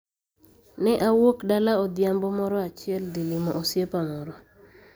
"Ne awuok dala odhiambo moro achiel dhi limo osiepa moro.